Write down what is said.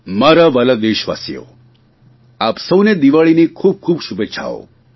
મારા વ્હાલા દેશવાસીઓ આપ સૌને દિવાળીની ખૂબ ખૂબ શુભેચ્છાઓ